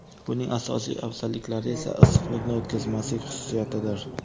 Buning asosiy afzalliklari esa issiqlikni o‘tkazmaslik xususiyatidir.